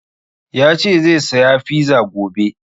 Ya ce zai saya fiza gobe